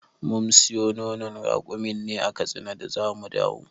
Mun siyo nonon rakumin ne a katsina da zamu dawo.